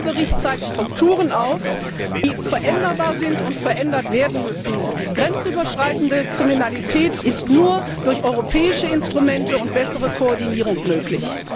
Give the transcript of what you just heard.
Dieser Bericht zeigt Strukturen auf, die veränderbar sind und verändert werden müssen. Grenzüberschreitende Kriminalität ist nur durch europäische Instrumente und bessere Koordinierung möglich.